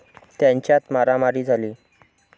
त्यांच्यात मारामारी झाली.